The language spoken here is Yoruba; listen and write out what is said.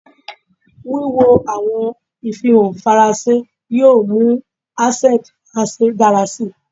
Wiwo awọn ifihan Faranse yoo mu asẹnti Faranse dara si